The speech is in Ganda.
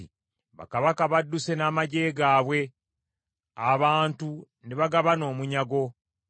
“Bakabaka badduse n’amaggye gaabwe; abantu ne bagabana omunyago.